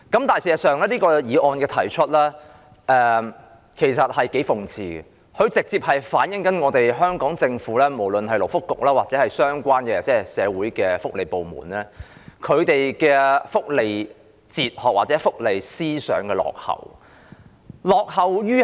但事實上，提出這項議案是頗諷刺的，這直接反映香港政府，無論是勞工及福利局或相關的社會福利部門的福利哲學或思想的落後。